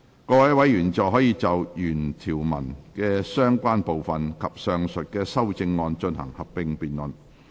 各位委員現在可以就原條文的相關部分及上述的修正案進行合併辯論。